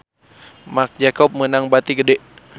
Marc Jacob meunang bati gede